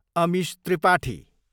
Amish Tripathi